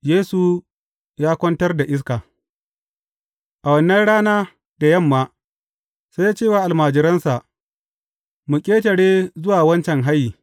Yesu ya kwantar da iska A wannan rana, da yamma, sai ya ce wa almajiransa, Mu ƙetare zuwa wancan hayi.